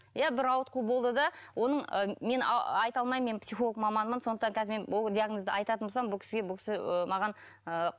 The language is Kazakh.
иә бір ауытқу болды да оның ы мен айта алмаймын мен психолог маманмын сондықтан қазір мен ол диагнозды айтатын болсам бұл кісіге бұл кісі ы маған ы